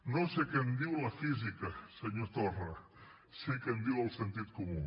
no sé què en diu la física senyor torra sé què em diu el sentit comú